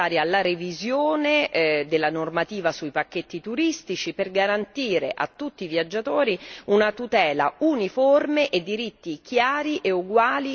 della normativa sui pacchetti turistici per garantire a tutti i viaggiatori una tutela uniforme e diritti chiari e uguali in tutti gli Stati membri.